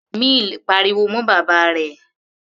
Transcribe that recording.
Mill pariwo mọ́ bàbá rẹ̀.